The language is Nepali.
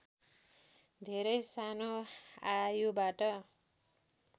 धेरै सानो आयुबाट